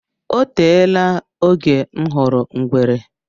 O teela oge m hụrụ ngwere.